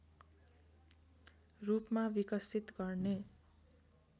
रूपमा विकसित गर्ने